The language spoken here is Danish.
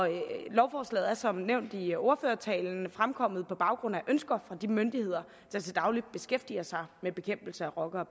lovforslaget er som nævnt i ordførertalen fremkommet på baggrund af ønsker fra de myndigheder der til daglig beskæftiger sig med bekæmpelse af rocker